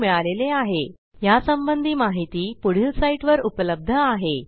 spoken tutorialorgnmeict intro ह्या ट्युटोरियलचे भाषांतर मनाली रानडे यांनी केले असून मी रंजना भांबळे आपला निरोप घेते